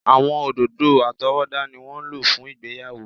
Àwọn òdòdó àtọwọ́dá ni wọ́n ń lò fún ìgbéyàwó.